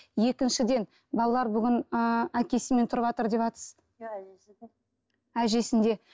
екіншіден балалар бүгін ыыы әкесімен тұрыватыр деватсыз әжесінде